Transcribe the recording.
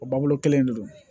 O babu kelen in de don